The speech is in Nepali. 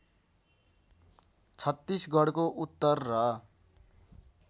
छत्तीसगढको उत्तर र